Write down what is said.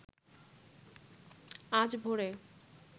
আজ ভোরে